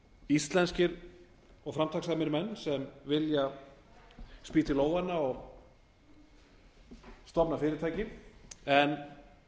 íslenskir og framtakssamir menn sem vilja spýta í lófana og koma upp fyrirtæki en